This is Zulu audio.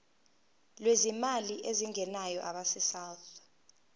lwezimali ezingenayo abesouth